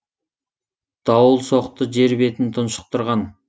дауыл соқты жер бетін тұншықтырған